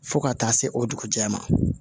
Fo ka taa se o dugujɛɛ ma